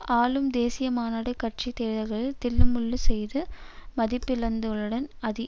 ஆளும் தேசிய மாநாடு கட்சி தேர்தல்களில் தில்லு முல்லு செய்து மதிப்பிழந்துள்ளதுடன் அது